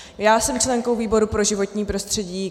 Já jsem členkou výboru pro životní prostředí.